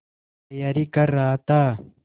तैयारी कर रहा था